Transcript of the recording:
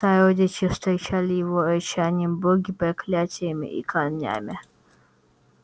сородичи встречали его рычанием боги проклятиями и камнями